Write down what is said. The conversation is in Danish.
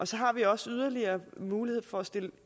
så har vi også yderligere mulighed for at stille